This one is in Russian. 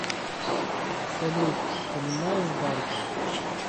салют понимаешь банту